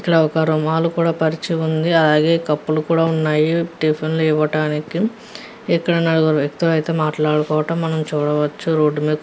ఇక్క్కడ ఒక రుమాల్ కూడా పరిచి వుంది. అలాగే కపుల్లు కూడా వున్నాయ్. టిఫిన్ లు ఇవటానికి ఇక్క్కడ మనం వుకుతుల్లు మాట్లాడడం కోసం అయతె మనం చూడవచు రోడ్ మేధా.